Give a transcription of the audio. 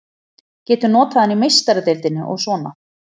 Getum notað hann í Meistaradeildinni og svona.